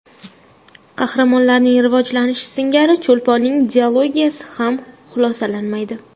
Qahramonlarining rivojlanishi singari Cho‘lponning dilogiyasi ham xulosalanmaydi.